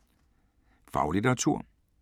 Faglitteratur